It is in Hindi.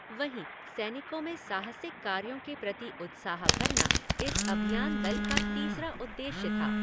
वहीं, सैनिकों में साहसिक कार्यों के प्रति उत्साह भरना इस अभियान दल का तीसरा उद्देश्य था।